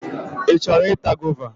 Ị chọrọ ịta gova?